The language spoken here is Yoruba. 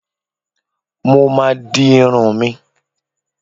Mo ma di irun mi.